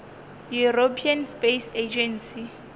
european space agency